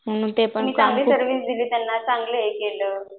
आपण चांगली सर्व्हिस दिली त्यांना चांगलं हे केलं